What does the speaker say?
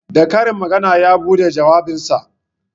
Da karin magana ya buɗe jawabinsa